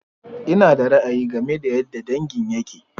Ina da ra'ayi game da yadda dangin yakke.